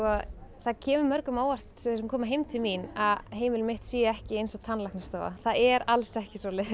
það kemur mörgum á óvart sem koma heim til mín að heimilið mitt sé ekki eins og tannlæknastofa það er alls ekki svoleiðis